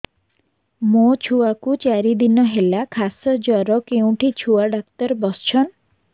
ମୋ ଛୁଆ କୁ ଚାରି ଦିନ ହେଲା ଖାସ ଜର କେଉଁଠି ଛୁଆ ଡାକ୍ତର ଵସ୍ଛନ୍